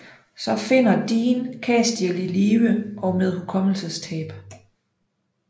Så finder Dean Castiel i live og med hukommelsestab